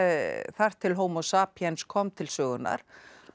þar til homo sapiens kom til sögunnar